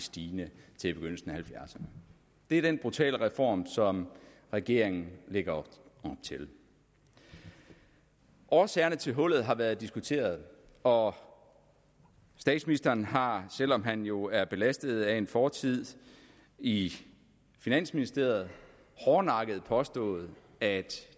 stigende til begyndelsen af halvfjerdserne det er den brutale reform som regeringen lægger op til årsagerne til hullet har været diskuteret og statsministeren har selv om han jo er belastet af en fortid i finansministeriet hårdnakket påstået at